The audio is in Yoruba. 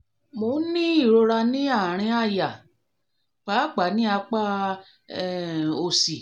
mo ń ní ìrora ní àárín àyà pàápàá ní apá um òsì